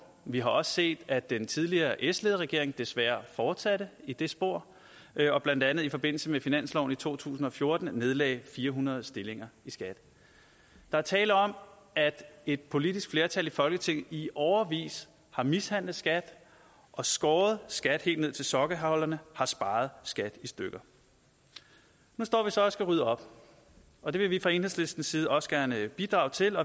vi har også set at den tidligere s ledede regering desværre fortsatte i det spor og blandt andet i forbindelse med finansloven i to tusind og fjorten nedlagde fire hundrede stillinger i skat der er tale om at et politisk flertal i folketinget i årevis har mishandlet skat og skåret skat helt ned til sokkeholderne har sparet skat i stykker nu står vi så og skal rydde op og det vil vi fra enhedslistens side også gerne bidrage til